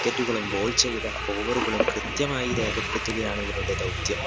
wicket ഉകളും ball ചെയ്ത over കളും കൃത്യമായി രേഖപ്പെടുത്തുകയാണ് ഇവരുടെ ദൗത്യം